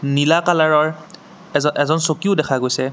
নীলা কালাৰৰ এজ এজন চকীও দেখা গৈছে।